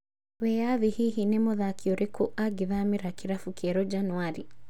Wĩyathi hihi ni mũthaki ũrĩkũ angĩthamĩra kĩrabu kĩerũ Januarĩ?